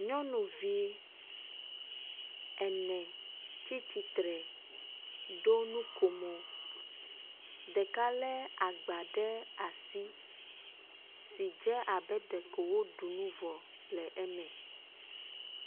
Nyɔnuvi ene tsitsre ɖo nukomo. Ɖeka le agba ɖe asi si dze abe ɖeko woɖu nu vɔ le eme.